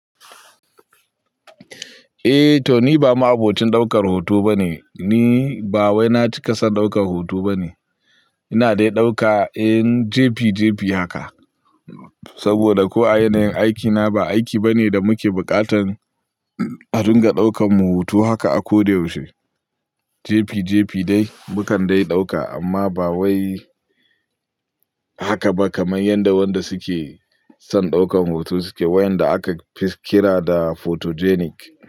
Eh to ni ba ma abokin daukar hoto bane, ni ba wai na cika son daukar hoto bane. Ina dai dauka, in jefi jefi haka. Saboda ko a yanayin aikina ba aiki bane da muke buƙatan a dinga daukan mu hoto haka a ko da yaushe. Jefi jefi dai mukan dai dauka, amma ba wai haka ba kamar yadda wanda suke son daukan hoto suke, wayanda aka kira da photogenic.